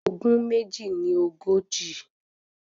Ogún méjì ní ogójì.